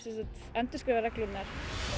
endurskrifa reglurnar